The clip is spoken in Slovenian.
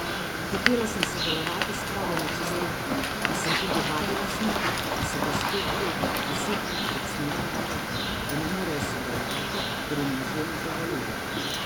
Hotela sem sodelovati s pravimi čistilkami in sem tudi vadila z njimi, a so gospe teden, deset dni pred snemanjem rekle, da ne morejo sodelovati, ker jim možje ne dovolijo.